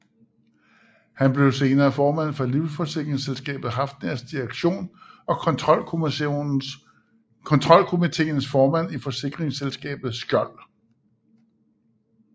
Han blev senere formand for livsforsikringsselskabet Hafnias direktion og kontrolkomiteens formand i forsikringsselskabet Skjold